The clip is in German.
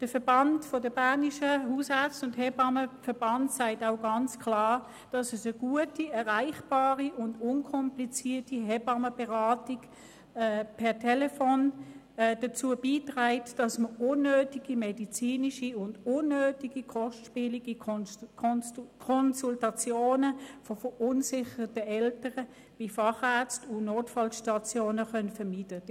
Der Verband sagt auch klar, dass eine gute, erreichbare und unkomplizierte Hebammenberatung per Telefon dazu beiträgt, dass dadurch unnötige medizinische und unnötige kostspielige Konsultationen von verunsicherten Eltern bei Fachärzten und Notfallstationen vermieden werden können.